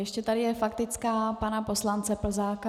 Ještě je tady faktická pana poslance Plzáka.